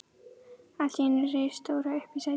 Allt í einu reis Dóra upp í sætinu.